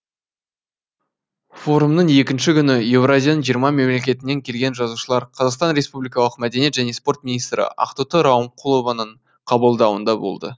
форумның екінші күні еуразияның жиырма мемлекетінен келген жазушылар қазақстан республикалық мәдениет және спорт министрі ақтоты рауымқұлованың қабылдауында болды